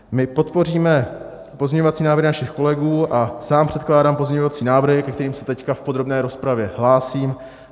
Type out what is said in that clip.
My podpoříme pozměňovací návrhy našich kolegů a sám předkládám pozměňovací návrhy, ke kterým se teď v podrobné rozpravě hlásím.